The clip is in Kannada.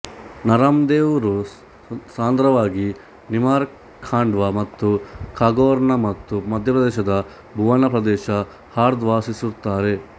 ನರಮ್ ದೇವ್ ರು ಸಾಂದ್ರವಾಗಿ ನಿಮಾರ್ ಖಾಂಡ್ವಾ ಮತ್ತು ಖಾರ್ಗೋನ್ಮತ್ತು ಮಧ್ಯಪ್ರದೇಶದ ಭುವನ ಪ್ರದೇಶ ಹಾರ್ದಾ ವಾಸಿಸುತ್ತಾರೆ